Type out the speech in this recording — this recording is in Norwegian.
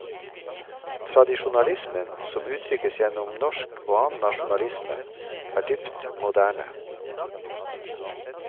Tradisjonalismen som uttrykkes gjennom norsk og annen nasjonalisme, er dypt moderne.